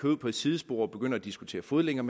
ud på et sidespor og begynder at diskutere fodlænker